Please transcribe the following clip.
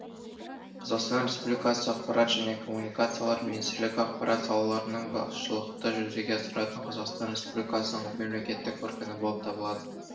қазақстан республикасы ақпарат және коммуникациялар министрлігі ақпарат салаларының басшылықты жүзеге асыратын қазақстан республикасының мемлекеттік органы болып табылады